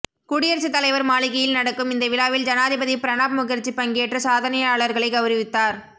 குடியரசுத் தலைவர் மாளிகையில் நடக்கும் இந்த விழாவில் ஜனாதிபதி பிரணாப் முகர்ஜி பங்கேற்று சாதனையாளர்களை கவுரவித்தார்